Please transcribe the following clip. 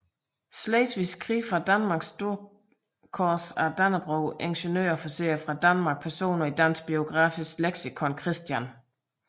Slesvigske Krig fra Danmark Storkors af Dannebrog Ingeniørofficerer fra Danmark Personer i Dansk Biografisk Leksikon Christian